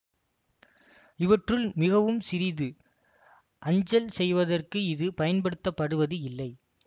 இவற்றுள் மிகவும் சிறிது அஞ்சல் செய்வதற்கு இது பயன்படுத்தப்படுவது இல்லை